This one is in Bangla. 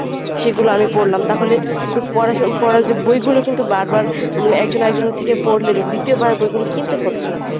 সেগুলো আমি পড়লাম তাহলে কিন্তু পড়া যে বই গুলো কিন্তু বারবার মানে একজন আরেকজনের থেকে পড়লে দ্বিতীয় বার বইগুলো কিনতে হচ্ছে না।